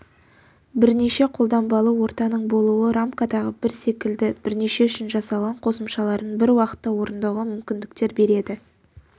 бірнеше қолданбалы ортаның болуы рамкадағы бір секілді бірнеше үшін жасалған қосымшаларын бір уақытта орындауға мүмкіндіктер береді